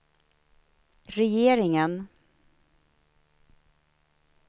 regeringen